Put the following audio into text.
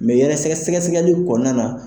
Mɛ yɛrɛ sɛgɛ-sɛgɛsɛgɛli kɔnɔna na